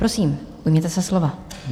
Prosím, ujměte se slova.